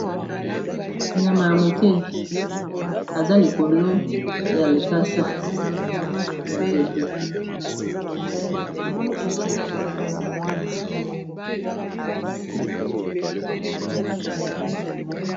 Nyama ya moke aza likolo ya likasa ya nzete.